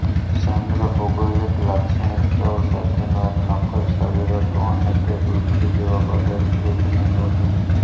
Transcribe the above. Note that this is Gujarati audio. ચંદ્ર ભૌગોલિક લાક્ષણિકતાઓ સાથેનું એક નક્કર શરીર હતું અને તે પૃથ્વી જેવા પદાર્થથી બનેલું હતું